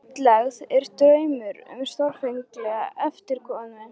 Útlegð er draumur um stórfenglega endurkomu.